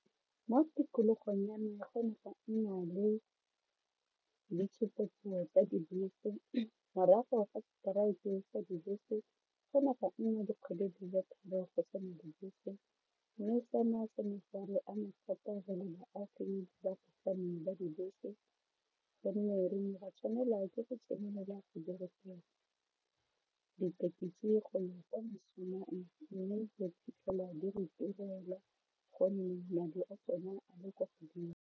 Mo tikologong ya me go ne ga nna le ditshupetso tsa dibese morago ga gore strike sa dibese go ne ga nna dikgwedi di le tharo go se na dibese mme sena se ne sa re ama thata re le baagi ba dibese gonne re ne ra tshwanela ke go tsenelela dithekisi go ya kwa mošomong mme re fitlhela di re turela gonne madi a tsone a le kwa godimo.